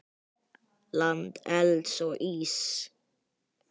Land elds og íss.